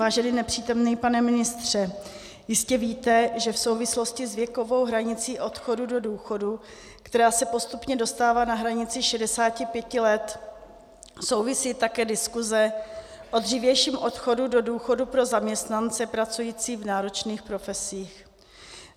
Vážený nepřítomný pane ministře, jistě víte, že v souvislosti s věkovou hranicí odchodu do důchodu, která se postupně dostává na hranici 65 let, souvisí také diskuse o dřívějším odchodu do důchodu pro zaměstnance pracující v náročných profesích.